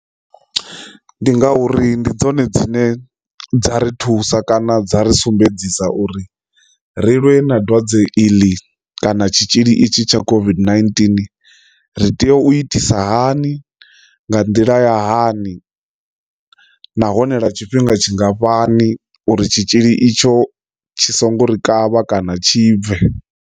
Ndi ngauri ndi dzone dzine dza ri thusa kana dza ri sumbedzisa uri rilwe na dwadze iḽi kana tshitzhili itshi tsha COVID-19 ri tea u itisa hani nga nḓila ya hani nahone lwa tshifhinga tshingafhani uri tshitzhili itsho tshi songo ri kavha kana tshi bve.